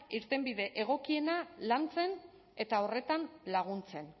irtenbide egokiena lantzen eta horretan laguntzen